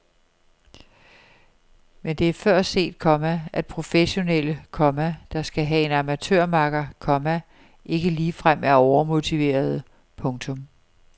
Men det er før set, komma at professionelle, komma der skal have en amatørmakker, komma ikke ligefrem er overmotiverede. punktum